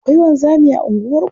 Akwai wanzami a unguwarku?